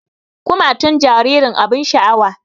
Kumatun jaririn abin sha'awa